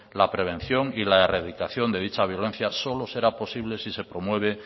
la prevención y la erradicación de dicha violencia solo será posible si se promueve